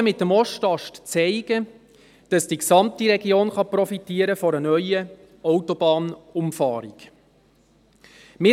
Die Erfahrungen mit dem Ostast zeigen, dass die gesamte Region von einer neuen Autobahnumfahrung profitieren kann.